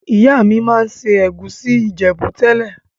Ìyá mi ma n se ègusi Ìjẹ̀bú tẹ́lẹ̀.